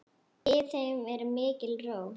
Yfir þeim er mikil ró.